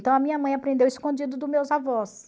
Então, a minha mãe aprendeu escondido dos meus avós.